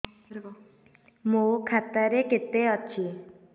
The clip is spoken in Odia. ମୋ ଖାତା ରେ କେତେ ଅଛି